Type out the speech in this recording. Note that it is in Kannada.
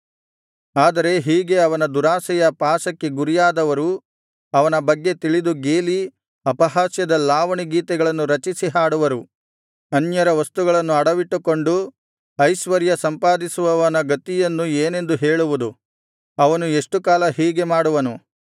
ಆದರೆ ಹೀಗೆ ಅವನ ದುರಾಶೆಯ ಪಾಶಕ್ಕೆ ಗುರಿಯಾದವರು ಅವನ ಬಗ್ಗೆ ತಿಳಿದು ಗೇಲಿ ಅಪಹಾಸ್ಯದ ಲಾವಣಿ ಗೀತೆಗಳನ್ನು ರಚಿಸಿ ಹಾಡುವರು ಅನ್ಯರ ವಸ್ತುಗಳನ್ನು ಅಡವಿಟ್ಟುಕೊಂಡು ಐಶ್ವರ್ಯ ಸಂಪಾದಿಸುವವನ ಗತಿಯನ್ನು ಏನೆಂದು ಹೇಳುವುದು ಅವನು ಎಷ್ಟು ಕಾಲ ಹೀಗೆ ಮಾಡುವನು